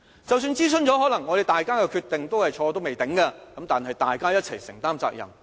即使諮詢後大家的決定都是錯的，但大家一起承擔責任。